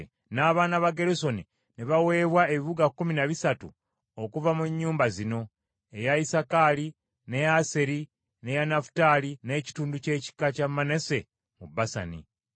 N’abaana ba Gerusoni ne baweebwa ebibuga kkumi na bisatu okuva mu nnyumba zino: eya Isakaali, n’eya Aseri, n’eya Nafutaali, n’ekitundu ky’ekika kya Manase mu Basani.